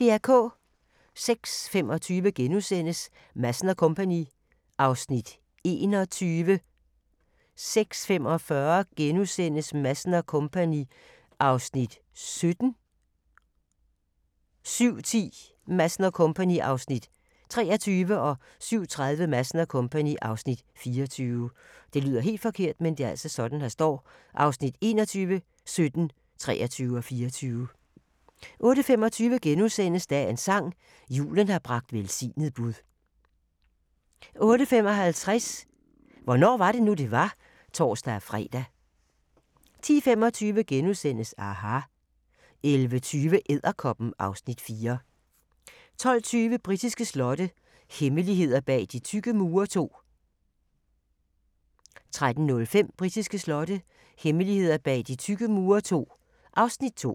06:25: Madsen & Co. (Afs. 21)* 06:45: Madsen & Co. (Afs. 17)* 07:10: Madsen & Co. (Afs. 23) 07:30: Madsen & Co. (Afs. 24) 08:25: Dagens sang: Julen har bragt velsignet bud * 08:55: Hvornår var det nu, det var? (tor-fre) 10:25: aHA! * 11:20: Edderkoppen (Afs. 4) 12:20: Britiske slotte – hemmeligheder bag de tykke mure II 13:05: Britiske slotte – hemmeligheder bag de tykke mure II (Afs. 2)